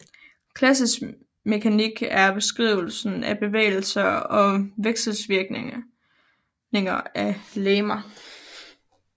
Klassisk mekanik er beskrivelsen af bevægelser og vekselvirkninger af legemer